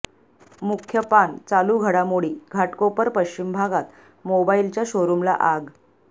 मुख्य पान चालू घडामोडी घाटकोपर पश्चिम भागात मोबाईलच्या शोरुमला आग